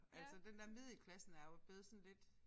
Altså den der middelklassen er jo blevet sådan lidt